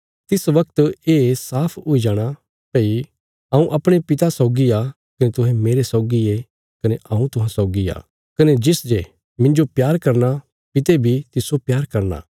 तिस बगत ये साफ हुई जाण भई हऊँ अपणे पिता सौगी आ कने तुहें मेरे सौगी ये कने हऊँ तुहां सौगी आ कने तिस जे मिन्जो प्यार करना पिता बी तिस्सो प्यार करना